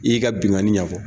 I y'i ka binkani ɲɛ fɔ.